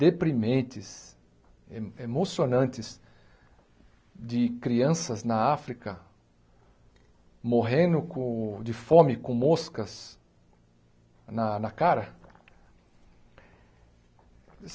deprimentes, emo emocionantes de crianças na África morrendo com de fome com moscas na na cara.